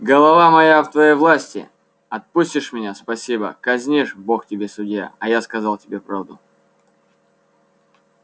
голова моя в твоей власти отпустишь меня спасибо казнишь бог тебе судья а я сказал тебе правду